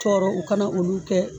Tɔɔrɔ u kana olu kɛ